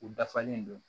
U dafalen don